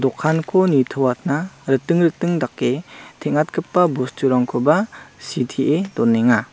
dokanko nitoatna riting riting dake teng·atgipa bosturangkoba sitee donenga.